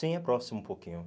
Sim, é próximo um pouquinho.